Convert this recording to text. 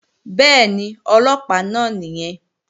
Bẹ́ẹ̀ni, Ọlọ́pàá náà nìyẹn